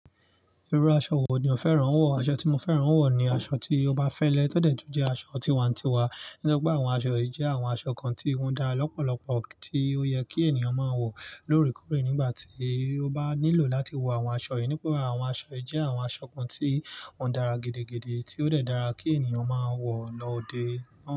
Irú aṣọ wo ni o fẹ́ràn wọ̀? Aṣọ tí mo fẹ́ràn wọ̀ ni aṣọ tí ó bá fẹ́lẹ́ tọ dẹ̀tù jẹ́ aṣọ tiwa ntiwa. Nítorí pé àwọn aṣọ yìí jẹ́ àwọn aṣọ kan tí wọ́n da lọ́pọ̀lọpọ̀, tí ó yẹ kí ènìyàn máa wọ̀ lóòrèkóòrè nígbà tí ó bá nílò láti wọ àwọn aṣọ yìí. Nígbà tí àwọn aṣọ yìí jẹ́ àwọn aṣọ kan tí wọ́n dára gidigidi, tí ó dẹ̀ dára kí ènìyàn máa wọ̀ lọ dé.